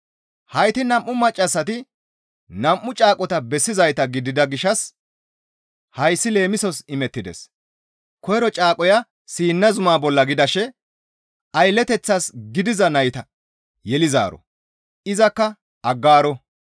Hayti nam7u maccassati nam7u caaqota bessizayta gidida gishshas hayssi leemisos imettides; koyro caaqoya Siina zumaa bolla gidashe aylleteththas gidiza nayta yelizaaro; izakka Aggaaro.